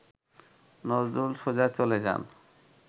নজরুল সোজা চলে যান